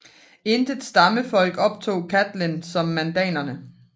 Intet stammefolk optog Catlin som mandanerne